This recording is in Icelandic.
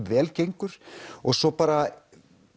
vel gengur og svo bara